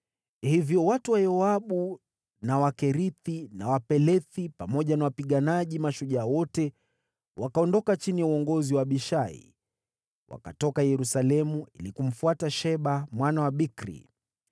Hivyo watu wa Yoabu, na Wakerethi na Wapelethi, pamoja na wapiganaji mashujaa wote wakaondoka chini ya uongozi wa Abishai. Wakatoka Yerusalemu ili kumfuata Sheba mwana wa Bikri.